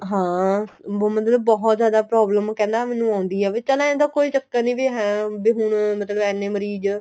ਹਾਂ ਬਹੁਤ ਮਤਲਬ ਬਹੁਤ ਜਿਆਦਾ problem ਕਹਿੰਦਾ ਮੈਨੂੰ ਆਂਦੀ ਏ ਵੀ ਕਹਿੰਦਾ ਏ ਤਾਂ ਕੋਈ ਚੱਕਰ ਨੀਂ ਵੀ ਹੈ ਦੇ ਹੁਣ ਇੰਨੇ ਮਰੀਜ